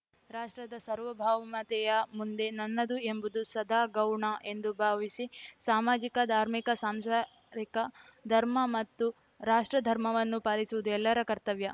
ರಾಷ್ಟ್ರದ ಸಾರ್ವಭೌಮತೆಯ ಮುಂದೆ ನನ್ನದು ಎಂಬುದು ಸದಾ ಗೌಣ ಎಂದು ಭಾವಿಸಿ ಸಾಮಾಜಿಕ ಧಾರ್ಮಿಕ ಸಾಂಸಾರಿಕ ಧರ್ಮ ಹಾಗೂ ರಾಷ್ಟ್ರಧರ್ಮವನ್ನೂ ಪಾಲಿಸುವುದು ಎಲ್ಲರ ಕರ್ತವ್ಯ